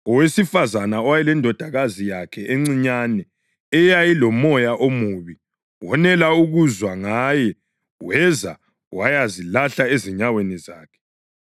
Owesifazane owayelendodakazi yakhe encinyane eyayilomoya omubi wonela ukuzwa ngaye weza wayazilahla ezinyaweni zakhe.